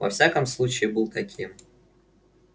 во всяком случае был таким